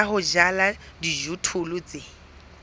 ya ho jala dijothollo tse